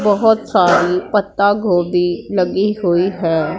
बहोत सारी पत्तागोभी लगी हुई है।